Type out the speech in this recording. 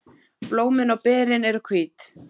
Blómin og berin eru hvít.